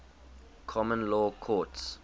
common law courts